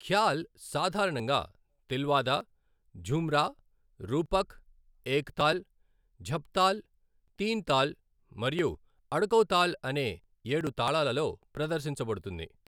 ఖ్యాల్ సాధారణంగా తిల్వాదా, ఝుమ్రా, రూపక్, ఏక్తాల్, ఝప్తాల్, తింతాల్ మరియు అడకౌతాల్ అనే ఏడు తాళాలలో ప్రదర్శించబడుతుంది.